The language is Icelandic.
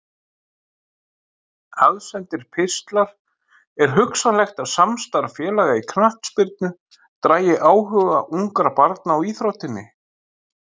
Aðsendir pistlar Er hugsanlegt að samstarf félaga í knattspyrnu dragi áhuga ungra barna á íþróttinni?